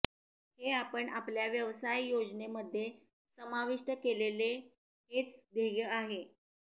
हे आपण आपल्या व्यवसाय योजनेमध्ये समाविष्ट केलेले हेच ध्येय आहे